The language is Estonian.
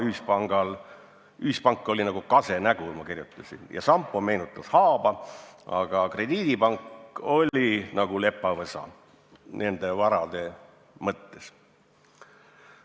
Ma kirjutasin, et Ühispank oli nagu kase nägu, Sampo meenutas haaba, aga Krediidipank oli nende varade mõttes nagu lepavõsa.